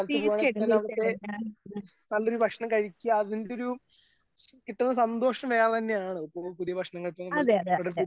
തീർച്ചയായിട്ടും തീർച്ചയായിട്ടും ഞാൻ അതെ അതെ അതെ അതെ അതെ